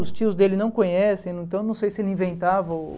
Os tios dele não conhecem, então não sei se ele inventava ou...